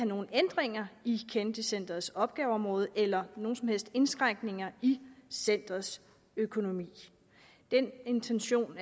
nogen ændringer i kennedy centrets opgaveområde eller at nogen som helst indskrænkninger i centerets økonomi og det er en intention